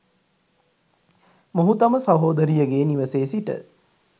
මොහු තම සහෝදරියගේ නිවසේ සිට